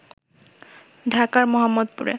ঢাকার মোহাম্মদপুরে